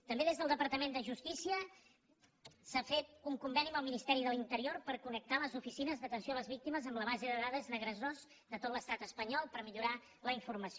també des del departament de justícia s’ha fet un conveni amb el ministeri de l’interior per connectar les oficines d’atenció a les víctimes amb la base de dades d’agressors de tot l’estat espanyol per millorar la informació